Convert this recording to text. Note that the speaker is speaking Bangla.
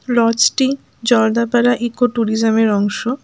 লজ -টি জলদাপাড়া ইকো ট্যুরিজম -এর অংশ।